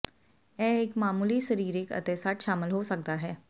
ਇਹ ਇੱਕ ਮਾਮੂਲੀ ਸਰੀਰਿਕ ਅਤੇ ਸੱਟ ਸ਼ਾਮਲ ਹੋ ਸਕਦਾ ਹੈ